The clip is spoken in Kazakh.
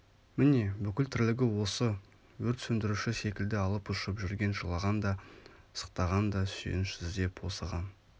міне бүкіл тірлігі осы өрт сөндіруші секілді алып-ұшып жүрген жылаған да сықтаған да сүйеніш іздеп осыған